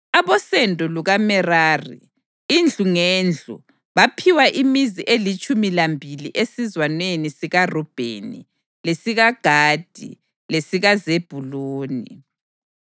Abosendo lukaMerari, indlu ngendlu, baphiwa imizi elitshumi lambili esizwaneni sikaRubheni, lesikaGadi lesikaZebhuluni.